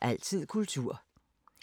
DR1